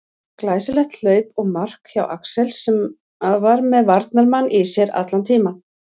Glæsilegt hlaup og mark hjá Axel sem að var með varnarmann í sér allan tímann.